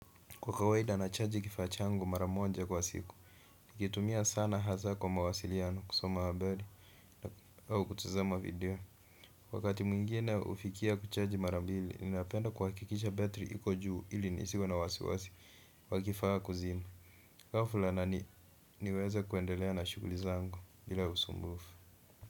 Kwa kawaida na chargi kifaa changu mara moja kwa siku, nikitumia sana hasa kwa mawasiliano kusoma habari au kutazama video. Wakati mwingine hufikia kuchargi mara mbili, ninapenda kuhakikisha battery iko juu ili nisiwe na wasiwasi kwa kifaa kuzima. Kwa fulana niweze kuendelea na shughuli zangu bila usumbufu.